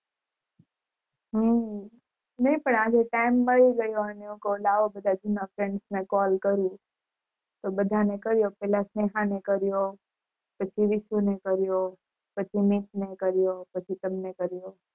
હમ નાય આજે પણ time મળી ગયો અને હું કૌ લાવો જુના friends ને call કરું તો બધાને કર્યો પેલા સ્નેહા ને કર્યો પછી વિસુ ને કર્યો પછી મિત ને કર્યો પછી તમને કર્યો